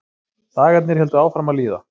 Dagarnir héldu áfram að líða.